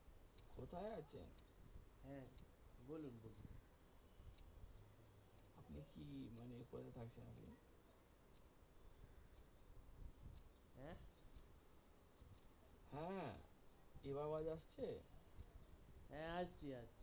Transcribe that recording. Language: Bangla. হ্যাঁ এবার আওয়াজ আসছে?